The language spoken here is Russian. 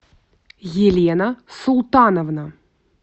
елена султановна